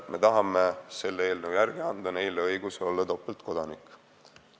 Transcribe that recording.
Me tahame selle eelnõu järgi anda neile õiguse olla topeltkodanik.